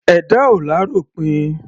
Ẹ̀dá ò l'áròpin.